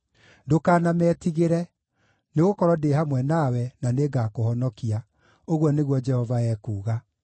Ndũkanametigĩre, nĩgũkorwo ndĩ hamwe nawe, na nĩngakũhonokia,” ũguo nĩguo Jehova ekuuga.